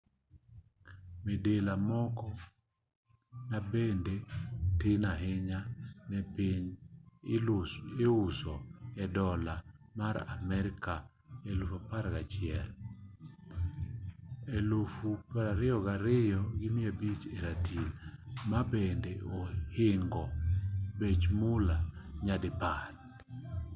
midila moko mabende tin ahinya e piny iuso e dollar mar amerka 11,000 22,500 e ratil mabende ohingo bech mula nyadipar